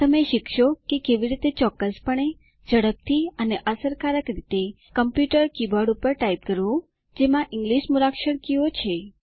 તમે શીખશો કે કેવી રીતે ચોક્કસપણે ઝડપથી અને અસરકારક રીતે કમ્પ્યુટર કીબોર્ડ પર ટાઇપ કરવું જેમાં ઇંગલિશ મૂળાક્ષર કીઓ છે